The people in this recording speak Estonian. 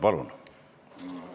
Palun!